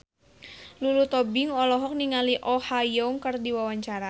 Lulu Tobing olohok ningali Oh Ha Young keur diwawancara